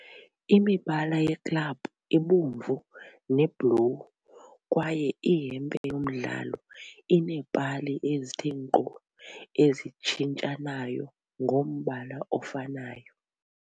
Imibala yeklabhu ibomvu nebhlowu kwaye ihempe yomdlalo ineepali ezithe nkqo ezitshintshanayo ngombala ofanayo.